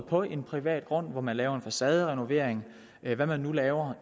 på en privat grund hvor man laver en facaderenovering eller hvad man nu laver